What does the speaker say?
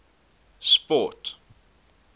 sport